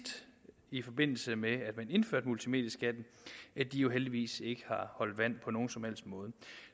i forbindelse med at man indførte multimedieskatten jo heldigvis ikke har holdt vand på nogen som helst måde